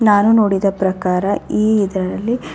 ನಾನು ನೋಡಿದ ಪ್ರಕಾರ ಈ ಇದರಲ್ಲಿ --